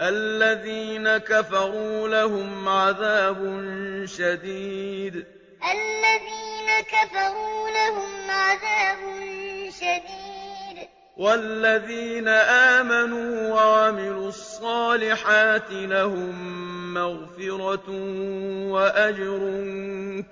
الَّذِينَ كَفَرُوا لَهُمْ عَذَابٌ شَدِيدٌ ۖ وَالَّذِينَ آمَنُوا وَعَمِلُوا الصَّالِحَاتِ لَهُم مَّغْفِرَةٌ وَأَجْرٌ